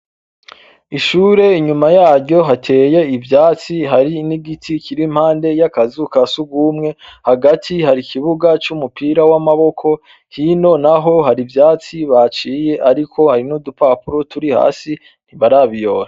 Ishure inyuma yaryo hateye ibyatsi hari n'igiti kiri impande y'akazu ka sugumwe, hagati hari ikibuga c'umupira w'amaboko, hino naho hari ivyatsi baciye, ariko hari n'udupapuro turi hasi, ntibarabiyora.